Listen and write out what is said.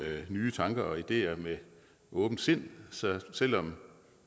nye tanker og ideer med åbent sind så selv om